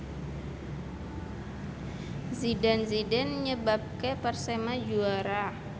Zidane Zidane nyebabke Persema juara